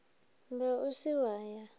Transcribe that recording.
ba o se wa ya